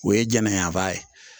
O ye jɛnɛyanfan ye